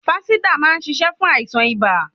Fánsídà má ń ṣiṣẹ́ fún àìsàn ibà.